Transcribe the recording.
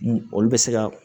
Olu bɛ se ka